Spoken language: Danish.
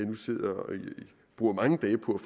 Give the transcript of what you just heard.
bruger mange dage på